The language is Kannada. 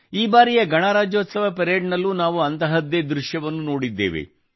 ಈ ಬಾರಿಯ ಗಣರಾಜ್ಯೋತ್ಸವ ಪರೇಡ್ನಲ್ಲೂ ನಾವು ಅಂತಹದ್ದೇ ದೃಶ್ಯವನ್ನು ನೋಡಿದ್ದೇವೆ